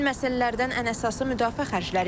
Həmin məsələlərdən ən əsası müdafiə xərcləridir.